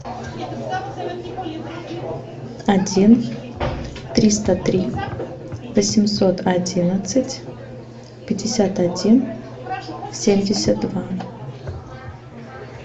один триста три восемьсот одиннадцать пятьдесят один семьдесят два